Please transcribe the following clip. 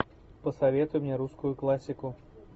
посоветуй мне русскую классику